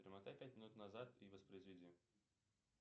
перемотай пять минут назад и воспроизведи